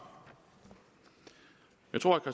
jeg tror at